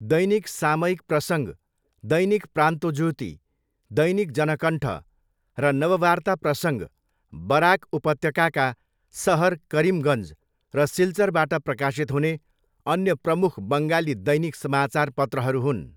दैनिक सामयिक प्रसङ्ग, दैनिक प्रान्तोज्योति, दैनिक जनकन्ठ र नववार्ता प्रसङ्ग बराक उपत्यकाका सहर करिमगञ्ज र सिल्चरबाट प्रकाशित हुने अन्य प्रमुख बङ्गाली दैनिक समाचार पत्रहरू हुन्।